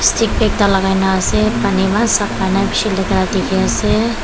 stick ekta lakai na ase pani eman sabha nai beshe latera dekhe ase.